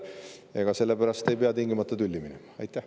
Ega sellepärast ei pea tingimata tülli minema.